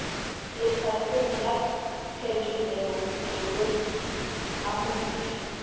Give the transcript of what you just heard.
lefapheng la phetolelo botoloki tlhamontšu